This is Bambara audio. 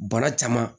Bana caman